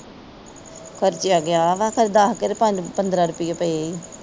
ਖਰਚਿਆ ਗਈ ਵਾ ਖਰੇ ਦਸ ਕ ਤੇ ਪੰਜ ਪੰਦਰਾਂ ਰੁਪਈਏ ਪਏ ਈ।